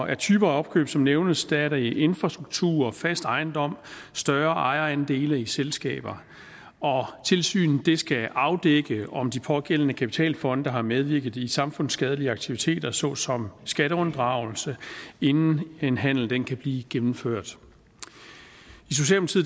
af typer af opkøb som nævnes er der infrastruktur fast ejendom og større ejerandele i selskaber og tilsynet skal afdække om de pågældende kapitalfonde har medvirket i samfundsskadelige aktiviteter såsom skatteunddragelse inden en handel kan kan blive gennemført